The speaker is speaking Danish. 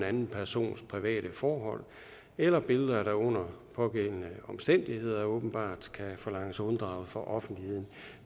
anden persons private forhold eller billeder der under pågældende omstændigheder åbenbart kan forlanges unddraget for offentligheden